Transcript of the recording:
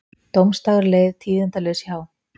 Dómsdagur leið tíðindalaus hjá